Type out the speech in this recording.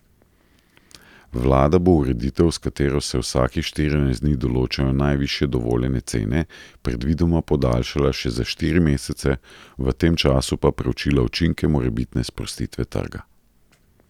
Vlada bo ureditev, s katero se vsakih štirinajst dni določijo najvišje dovoljene cene, predvidoma podaljšala še za štiri mesece, v tem času pa preučila učinke morebitne sprostitve trga.